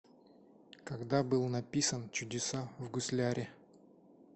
когда был написан чудеса в гусляре